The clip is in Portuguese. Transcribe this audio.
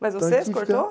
Mas você que cortou?